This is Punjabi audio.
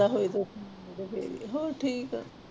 ਹੋਏ ਤੇ, ਤੇ ਫਿਰ ਹੀ ਆ ਹੋਰ ਠੀਕ ਆ।